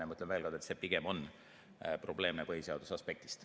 Ja ma ütlen veel kord, et see pigem on probleemne põhiseaduse aspektist.